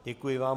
Děkuji vám.